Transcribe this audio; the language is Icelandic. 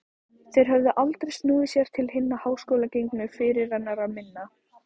Þeir höfðu aldrei snúið sér til hinna háskólagengnu fyrirrennara minna.